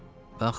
Bax belə.